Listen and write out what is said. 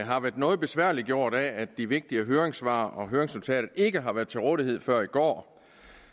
har været noget besværliggjort af at de vigtige høringssvar og høringsnotater ikke har været til rådighed før i går